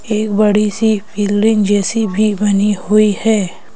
एक बड़ी सी बिल्डिंग जैसी भी बनी हुई है।